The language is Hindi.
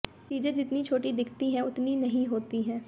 चीज़ें जितनी छोटी दिखती हैं उतनी नहीं होती है